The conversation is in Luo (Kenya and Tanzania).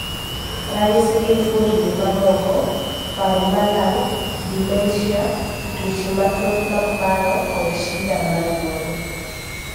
ranyisi gin fuondni momoko, paro malal, dementia, tuoche mathoth mag paro kod shida mar wuoyo